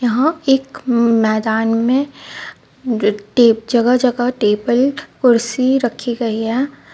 यहाँ एक म-मैदान में ट- टे- जगह जगह टेबल कुर्सी रखी गयी है.